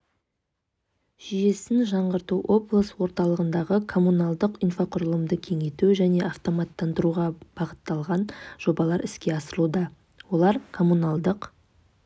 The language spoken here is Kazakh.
жүйесін жаңғырту облыс орталығындағы коммуналдық инфрақұрылымды кеңейту және автоматтандыруға бағытталған жобалар іске асырылуда олар коммуналдық